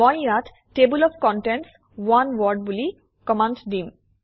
মই ইয়াত table of contents on Word বুলি কমাণ্ড দিম